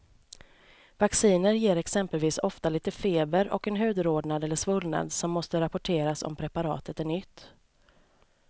Vacciner ger exempelvis ofta lite feber och en hudrodnad eller svullnad som måste rapporteras om preparatet är nytt.